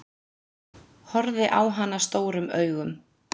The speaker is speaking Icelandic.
Horfði á hana stórum augum.